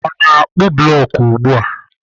Ọ na-akpụ blọk ugbu a?